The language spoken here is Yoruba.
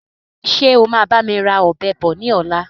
Ṣé o máa bami ra Ọ̀bẹ bọ̀ ni ọ̀la?